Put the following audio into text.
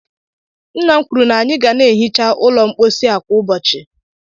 Nna m kwuru na anyị ga na-ehicha ụlọ mposi a kwa ụbọchị